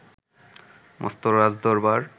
মস্ত রাজদরবার